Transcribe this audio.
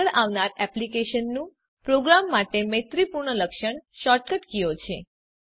આગળ આવનાર એક્લીપ્સનું પ્રોગ્રામર માટે મૈત્રીપૂર્ણ લક્ષણ શૉર્ટકટ કીઓ છે